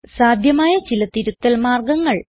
സാധ്യമായ ചില തിരുത്തൽ മാർഗങ്ങൾ